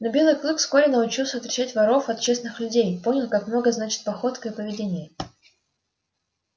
но белый клык вскоре научился отличать воров от честных людей понял как много значат походка и поведение